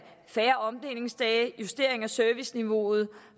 færre omdelingsdage justering af serviceniveauet